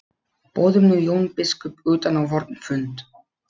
Boðum nú Jón biskup utan á vorn fund.